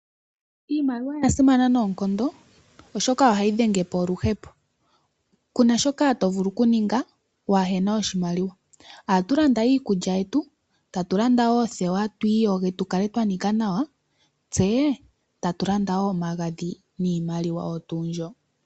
Iimaliwa oyasimana noonkondo oshoka ohayi dhenge po oluhepo kuna shoka to vulu okuninga wahena oshimaliwa. Ohatu landa iikulya yetu, tatu landa oothewa twiyoge tukale twa nika nawa tse tatu landa omagadhi niimaliwa oyo tuu mbyo.